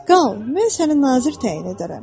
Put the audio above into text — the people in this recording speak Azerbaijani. Qal, mən səni nazir təyin edərəm.